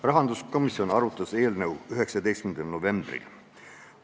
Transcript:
Rahanduskomisjon arutas seda eelnõu 19. novembril.